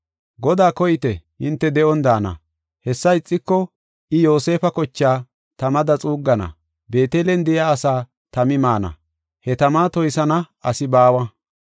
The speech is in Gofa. Godaa koyite; hinte de7on daana. Hessa ixiko, I Yoosefa kochaa tamada xuuggana; Beetelen de7iya asaa tami maana. He tama toysana asi baawa.